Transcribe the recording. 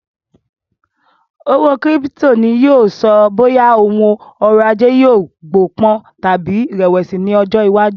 Owó kírípítò ni yìí ó sọ bóyá òun ọ̀rọ̀ ajé yìí gbó pọ̀n tàbí rẹ̀wẹ̀sì ni ọjọ́ iwájú